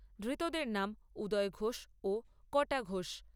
ধৃতদের নাম উদয় ঘোষ ও কটা ঘোষ।